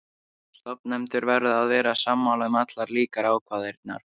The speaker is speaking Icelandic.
Stofnendur verða að vera sammála um allar líkar ákvarðanir.